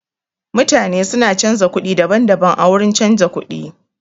Mutane su na canza kuɗi daban-daban a wurin canza kuɗi.